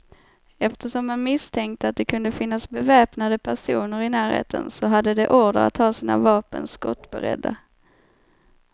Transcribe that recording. Eftersom man misstänkte att det kunde finnas beväpnade personer i närheten, så hade de order att ha sina vapen skottberedda.